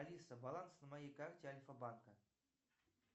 алиса баланс на моей карте альфа банка